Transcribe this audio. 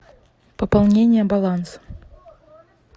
пополнение баланса